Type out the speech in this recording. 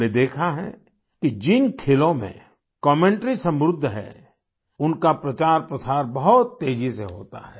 हमने देखा है कि जिन खेलों में कमेंटरी समृद्ध है उनका प्रचारप्रसार बहुत तेजी से होता है